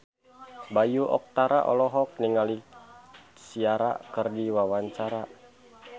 Bayu Octara olohok ningali Ciara keur diwawancara